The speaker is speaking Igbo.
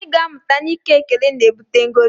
Anyị ga-amụta na ike ekele na-ebute ngọzi